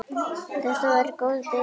Þetta var góð byrjun.